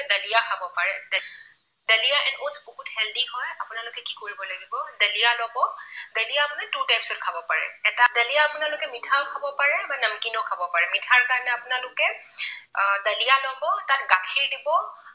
বহুত healthy হয়। আপোনালোকে কি কৰিব লাগিব। দালিয়া লব। দালিয়া মানে two types ত খাব পাৰে। এটা, দালিয়া আপোনালোকে মিঠাও খাব পাৰে বা নমকিনো খাব পাৰে। মিঠাৰ কাৰণে আপোনালোকে আহ দালিয়া লব তাত গাখীৰ দিব